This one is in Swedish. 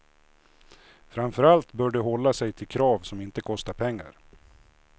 Framför allt bör de hålla sig till krav som inte kostar pengar.